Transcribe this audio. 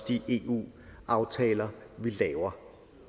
de eu aftaler vi laver